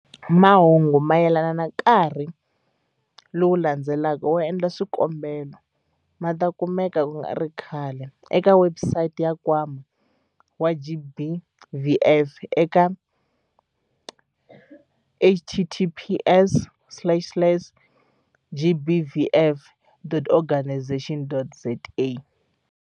Mahungu mayelana na nkarhi lowu landzelaka wo endla swikombelo ma ta kumeka ku nga ri khale eka webusayiti ya Nkwama wa GBVF eka- https slash slash gbvf.organisation.za.